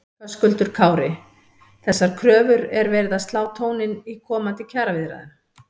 Höskuldur Kári: Þessar kröfur er verið að slá tóninn í komandi kjaraviðræðum?